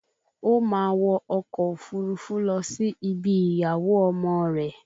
O máa wọ ọkọ̀ òfurufú lọ sí ibi ìyàwó ọmọ rẹ̀